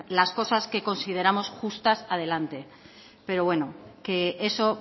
las cosas que consideramos justas adelante pero bueno que eso